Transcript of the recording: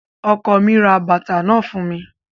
Ọkọ mi ra bàtà náà fún mi